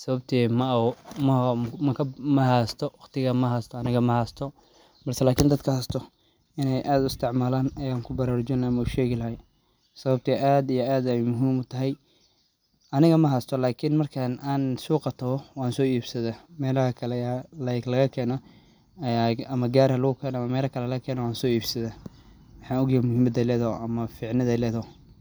sababtoo maoo maga ma ahaastoo waqtiga ma haastoo annaga ma haastoo balsa laakiin dadka haastoo inee aad istaamalaan ee aan ku barara june ama u sheegi lahay sababtee aad iyo aad ah muhiim u tahay. Aniga ma haastoo laakiin markaan aan suuqato waan soo iibsadee meelo kale ya la eeg lagakeeno ayaa ama gaar heelluu ka eeen oon soo iibsada. waxaa ogiig muhimada leedo ama fiicinade leedo.